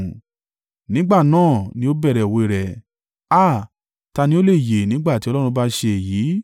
Nígbà náà ni ó bẹ̀rẹ̀ òwe rẹ̀: “Háà, ta ni ó lè yè nígbà tí Ọlọ́run bá ṣe èyí?